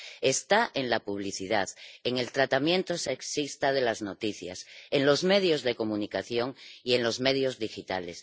Está en la publicidad, en el tratamiento sexista de las noticias, en los medios de comunicación y en los medios digitales